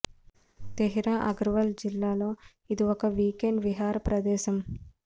తెహ్రి గర్వాల్ జిల్లాలో ఇది ఒక వీక్ ఎండ్ విహార ప్రదేశం